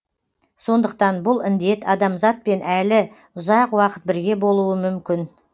сондықтан бұл індет адамзатпен әлі ұзақ уақыт бірге болуы мүмкін